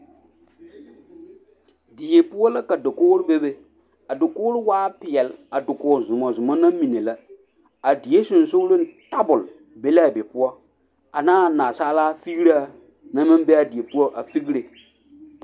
Die poɔ la ka dakoɡro bebe a dakoɡro waa peɛl a dakoɡi zumɔzumɔ na mine la a die sensooleŋ tabul be la a be poɔ ane naasaalaa fiɡiraa na maŋ be a die poɔ a fiɡre.